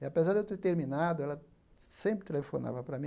E, apesar de eu ter terminado, ela sempre telefonava para mim.